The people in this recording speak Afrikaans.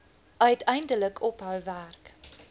uiteindelik ophou werk